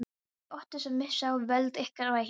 Þið óttist að missa völd ykkar og eignir.